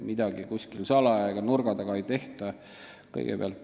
Midagi kuskil salaja ega nurga taga ei tehta.